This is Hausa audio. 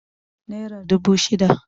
naira dubu shida